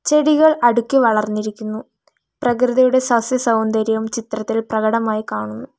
ചെടികൾ അടുക്കി വളർന്നിരിക്കുന്നു പ്രകൃതിയുടെ സസ്യസൗന്ദര്യം ചിത്രത്തിൽ പ്രകടമായി കാണുന്നു.